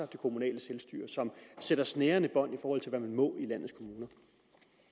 det kommunale selvstyre som sætter snærende bånd i forhold til hvad man må